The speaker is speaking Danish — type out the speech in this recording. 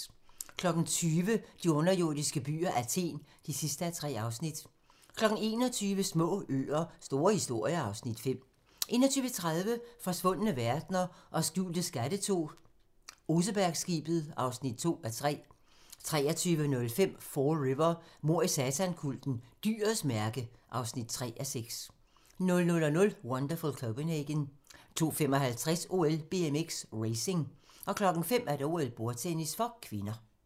20:00: De underjordiske byer – Athen (3:3) 21:00: Små øer – store historier (Afs. 5) 21:30: Forsvundne verdener og skjulte skatte II - Osebergskibet (2:3) 23:05: Fall River: Mord i satankulten - dyrets mærke (3:4) 00:00: Wonderful Copenhagen 02:55: OL: BMX, racing 05:00: OL: Bordtennis (k)